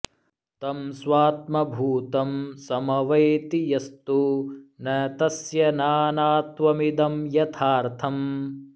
तं स्वात्मभूतं समवैति यस्तु न तस्य नानात्वमिदं यथार्थम्